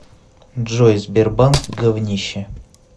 джой сбербанк говнище